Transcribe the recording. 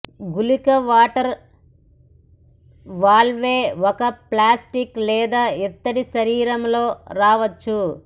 గుళిక water valve ఒక plastic లేదా ఇత్తడి శరీరం లో రావచ్చు